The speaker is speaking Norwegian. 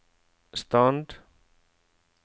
stand